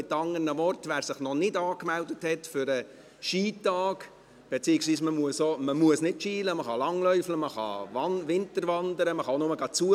Mit anderen Worten: Wer sich noch nicht für den Skitag angemeldet hat … beziehungsweise, man muss nicht Ski fahren, man kann langlaufen, man kann winterwandern, man kann auch nur zuschauen.